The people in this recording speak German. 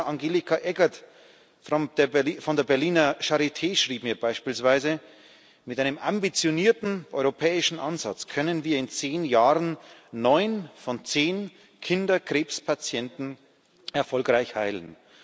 Professor Angelika Eggert von der Berliner Charité schrieb mir beispielsweise Mit einem ambitionierten, europäischen Ansatz können wir in zehn Jahren neun von zehn Kinderkrebspatienten erfolgreich heilen.